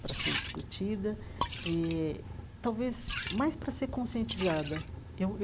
para ser discutida eh, talvez mais para ser conscientizada eu eu.